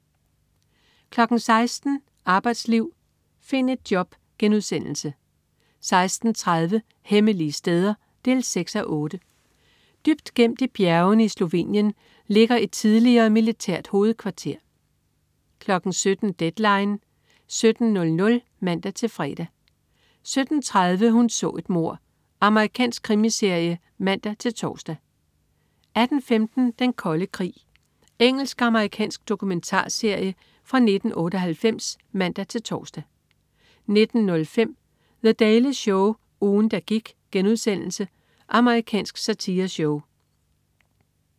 16.00 Arbejdsliv, find et job* 16.30 Hemmelige steder 6:8. Dybt gemt i bjergene i Slovenien ligger et tidligere militært hovedkvarter 17.00 Deadline 17.00 (man-fre) 17.30 Hun så et mord. Amerikansk krimiserie (man-tors) 18.15 Den kolde krig. Engelsk/amerikansk dokumentarserie fra 1998 (man-tors) 19.05 The Daily Show. Ugen, der gik.* Amerikansk satireshow